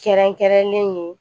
Kɛrɛnkɛrɛnlen ye